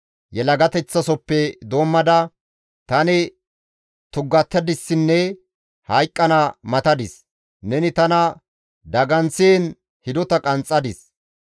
Yelagateththasofe doommada, tani tuggatadissinne hayqqana matadis; neni tana daganththiin hidota qanxxadis.